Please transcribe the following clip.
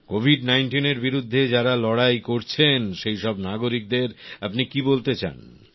Covid ১৯ এর বিরুদ্ধে যারা লড়াই করছেন সেই সব নাগরিকদের আপনি কি বলতে চান